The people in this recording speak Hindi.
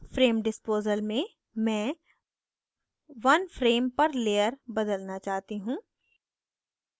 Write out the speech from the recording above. frame disposal में मैं one frame per layer बदलना चाहती हूँ